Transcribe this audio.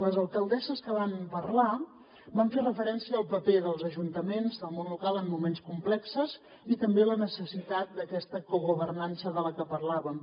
les alcaldesses que van parlar van fer referència al paper dels ajuntaments del món local en moments complexos i també la necessitat d’aquesta cogovernança de la que parlàvem